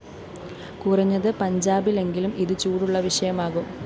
കുറഞ്ഞത്‌ പഞ്ചാബിലെങ്കിലും ഇതു ചൂടുള്ള വിഷയമാകും